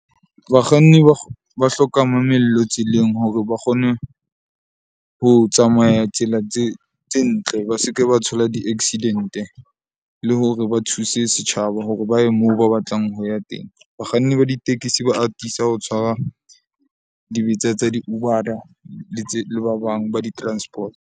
Bakganni ba ba hloka mamello tseleng hore ba kgone ho tsamaya tsela tse ntle. Ba se ke ba thola di-accident-e le hore ba thuse setjhaba hore ba ye moo ba batlang ho ya teng. Bakganni ba ditekesi ba atisa ho tshwara dibetsa tsa di le tse le ba bang ba di-transport.